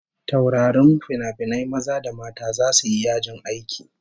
Taurarin finafinai maza da mata zasu yi yajin aiki